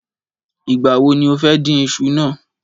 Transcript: Ìgbà wo ni o fẹ́ dín isu náà?